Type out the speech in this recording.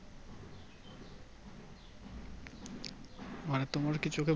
মানে তোমারকি চোখে